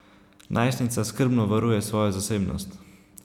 Najstnica skrbno varuje svojo zasebnost.